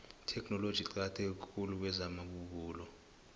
itheknoloji iqakatheke khulu kwezamabubulo